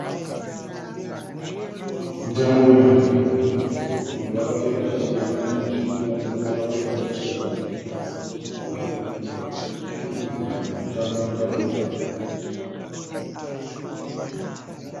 Mutambo wenhabvu. Vamwe vakapfeka zvitema nezvitsvuku. Vamwe ndovakapfeka zvichena. Vari kukwikwidzana mukutamba mutambo uyu.